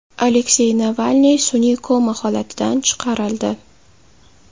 Aleksey Navalniy sun’iy koma holatidan chiqarildi.